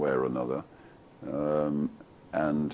en áður en